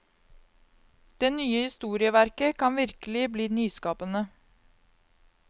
Det nye historieverket kan virkelig bli nyskapende.